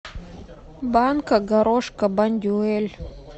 банка горошка бондюэль